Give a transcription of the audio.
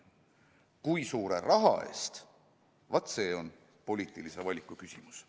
Kui suure raha eest, vaat see on poliitilise valiku küsimus.